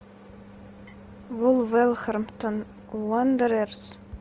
вулверхэмптон уондерерс